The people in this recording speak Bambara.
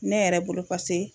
Ne yɛrɛ bolo pase